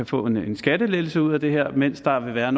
få en skattelettelse ud af det mens der vil være